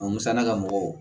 A musaka ka mɔgɔw